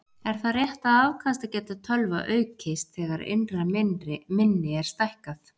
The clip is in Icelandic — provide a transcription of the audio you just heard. Er það rétt að afkastageta tölva aukist þegar innra minni er stækkað?